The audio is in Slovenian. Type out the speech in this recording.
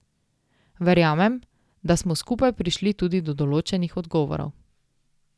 Verjamem, da smo skupaj prišli tudi do določenih odgovorov.